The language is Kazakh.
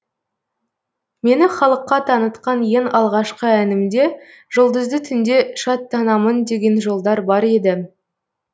мені халыққа танытқан ең алғашқы әнімде жұлдызды түнде шаттанамын деген жолдар бар еді